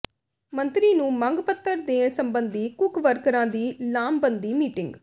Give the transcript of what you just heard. ਮੰਤਰੀ ਨੂੰ ਮੰਗ ਪੱਤਰ ਦੇਣ ਸਬੰਧੀ ਕੁੱਕ ਵਰਕਰਾਂ ਦੀ ਲਾਮਬੰਦੀ ਮੀਟਿੰਗ